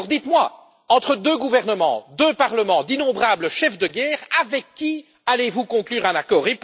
Alors dites moi entre deux gouvernements, deux parlements, d'innombrables chefs de guerre, avec qui allez vous conclure un accord?